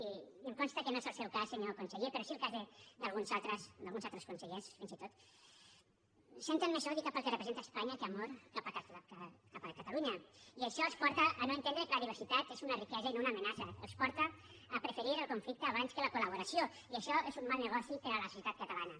i em consta que no és el seu cas senyor conseller però sí el cas d’alguns altres consellers fins i tot que senten més odi cap al que representa espanya que amor cap a catalunya i això els porta a no entendre que la diversitat és una riquesa i no una amenaça els porta a preferir el conflicte abans que la col·laboració i això és un mal negoci per a la societat catalana